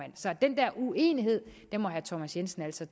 så den der uenighed må herre thomas jensen altså